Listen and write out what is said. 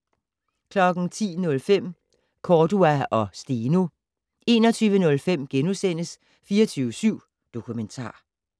10:05: Cordua og Steno 21:05: 24syv Dokumentar *